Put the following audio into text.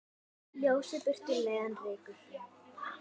Ljósið burtu leiðann rekur.